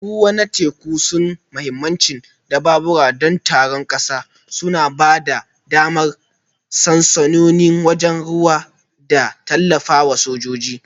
Tashoshin ruwa na teku suna da mahimmancin dabaru don tsaron ƙasa, suna ba da damar sansanonin sojojin ruwa da tallafawa sojoji